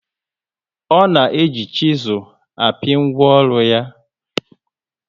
O na eji chisul api ngwaọrụ ya